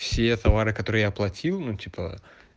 все товары которые я оплатил ну типа